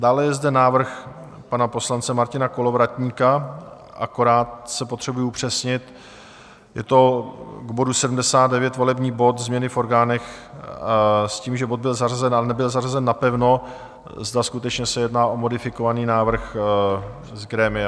Dále je zde návrh pana poslance Martina Kolovratníka, akorát si potřebuji upřesnit, je to k bodu 79, volební bod Změny v orgánech, s tím, že bod byl zařazen, ale nebyl zařazen napevno, zda skutečně se jedná o modifikovaný návrh z grémia?